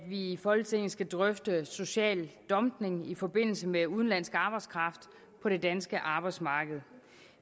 i folketinget skal drøfte social dumping i forbindelse med udenlandsk arbejdskraft på det danske arbejdsmarked